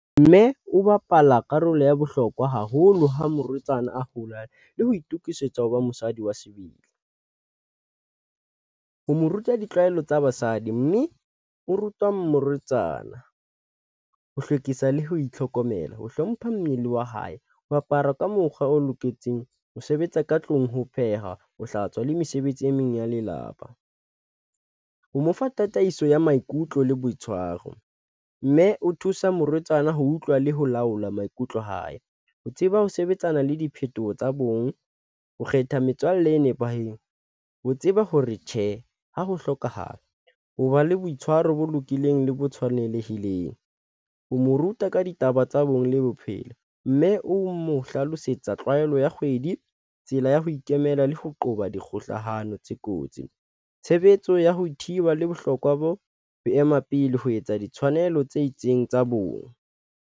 Mme o bapala karolo ya bohlokwa haholo ha morwetsana a hola le ho itokisetsa ho ba mosadi wa sebele, ho mo ruta ditlwaelo tsa basadi mme o ruta morwetsana, ho hlwekisa le ho itlhokomela ho hlompha mmele wa hae. Ho apara ka mokgwa o loketseng ho sebetsa ka tlung ho pheha, ho hlatswa le mesebetsi e meng ya lelapa ho mo fa tataiso ya maikutlo le boitshwaro mme o thusa morwetsana ho utlwa le ho laola maikutlo a hae. Ho tseba ho sebetsana le diphetoho tsa bong. Ho kgetha metswalle e nepahetseng ho tseba hore tjhe, ha ho hlokahala ho ba le boitshwaro bo lokileng le bo tshwanelehileng, ho mo ruta ka ditaba tsa bong, le bophelo mme o mo hlalosetsa tlwaelo ya kgwedi. Tsela ya ho ikemela le ho qoba di kgohlano tse kotsi tshebetso ya ho thiba le bohlokwa bo ho ema pele ho etsa ditshwanelo tse itseng tsa bong.